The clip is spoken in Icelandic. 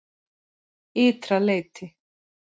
Ytra leyti